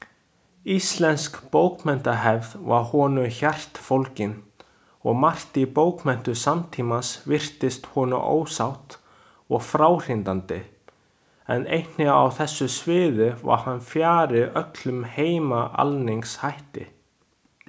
Íslensk bókmenntahefð var honum hjartfólgin, og margt í bókmenntum samtímans virtist honum ósatt og fráhrindandi, en einnig á þessu sviði var hann fjarri öllum heimaalningshætti.